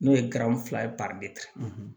N'o ye garanfila ye